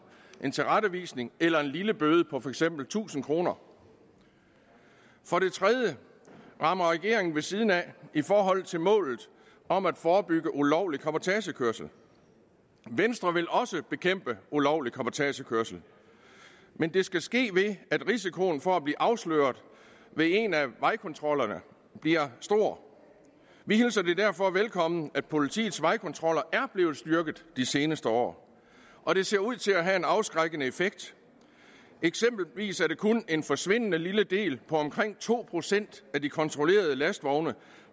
en tilrettevisning eller en lille bøde på for eksempel tusind kroner for det tredje rammer regeringen ved siden af i forhold til målet om at forebygge ulovlig cabotagekørsel venstre vil også bekæmpe ulovlig cabotagekørsel men det skal ske ved at risikoen for at blive afsløret ved en af vejkontrollerne bliver stor vi hilser det derfor velkommen at politiets vejkontroller er blevet styrket de seneste år og det ser ud til at have en afskrækkende effekt eksempelvis er det kun en forsvindende lille del på omkring to procent af de kontrollerede lastvogne